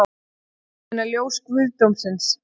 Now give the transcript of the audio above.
Ég meina ljós guðdómsins